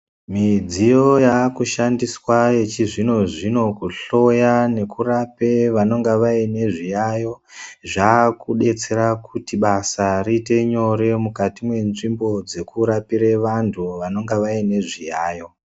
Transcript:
Midziyo yakashandiswa yechizvino zvino kutshloya nekurape vanonga vanezviyayo zvakudetsera kuti basa riite nyore mukati menzvimbo dzekurapire vantu vanonga vane zviyayo.